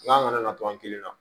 N'an nana to an kelen na